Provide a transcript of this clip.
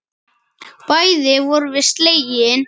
Bæði vorum við slegin.